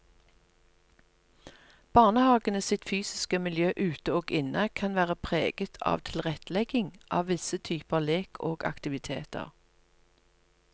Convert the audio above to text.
Barnehagene sitt fysiske miljø ute og inne kan være preget av tilrettelegging av visse typer lek og aktiviteter.